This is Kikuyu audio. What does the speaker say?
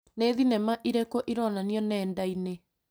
Nĩ thinema ĩrĩkũ ĩronanio nenda-inĩ